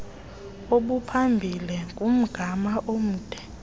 obuphambili ngumgama omde